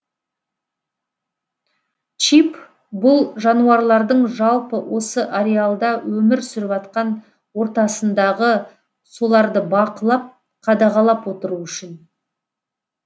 чип бұл жануарлардың жалпы осы ариалда өмір сүріватқан ортасындағы соларды бақылап қадағалап отыру үшін